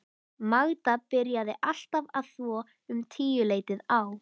Magda byrjaði alltaf að þvo um tíuleytið á